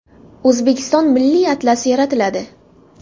O‘zbekiston milliy atlasi yaratiladi.